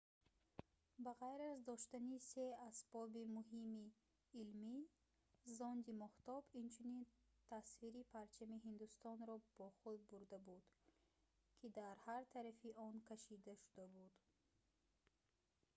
ба ғайр аз доштани се асбоби муҳими илмӣ зонди моҳтоб инчунин тасвири парчами ҳиндустонро бо худ бурда буд ки дар ҳар тарафи он кашида шуда буд